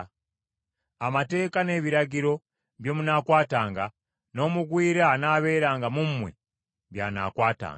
Amateeka n’ebiragiro bye munaakwatanga n’omugwira anaabeeranga mu mmwe by’anaakwatanga.”